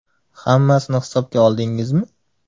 Hammasini hisobga oldingizmi?